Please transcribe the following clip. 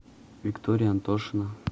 виктория антошина